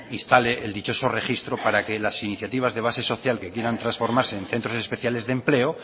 instale el dichoso registro para que las iniciativas de base social que quieran transformarse en centros especiales de empleo